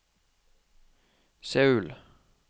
Seoul